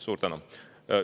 Suur tänu!